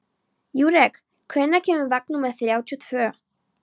Júrek, hvenær kemur vagn númer þrjátíu og tvö?